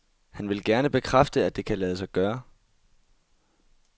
Han vil gerne bekræfte, at det kan lade sig gøre.